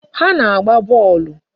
Ha na-agba bọọlụ.